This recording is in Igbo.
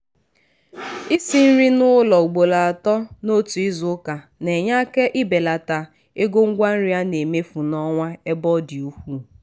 isi nri n´ụlọ ugboro atọ n'otu izuụka na-enye aka ibelata ego ngwa nri a na-emefu n'ọnwa ebe ọ dị ukwuu.